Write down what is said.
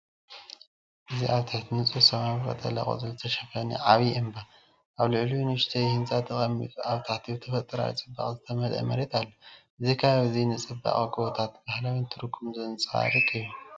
እዚ ኣብ ትሕቲ ንጹር ሰማይ ብቀጠልያ ቆጽሊ ዝተሸፈነ ዓቢ እምባ፡ ኣብ ልዕሊኡ ንእሽቶ ህንጻ ተቐሚጡ። ኣብ ታሕቲ፡ ብተፈጥሮኣዊ ጽባቐ ዝተመልአ መሬት ኣሎ። እዚ ከባቢ እዚ ንጽባቐ ጎቦታት ባህላዊ ትርጉምን ዘንጸባርቕ እዩ።